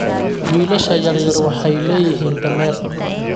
Wiilasha yaryar waxay leeyihiin dameer